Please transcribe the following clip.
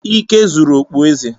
Ike zuru okpueze.